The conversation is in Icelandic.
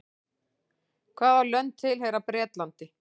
hvaða lönd tilheyra bretlandi